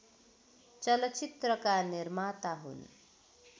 चलचित्रका निर्माता हुन्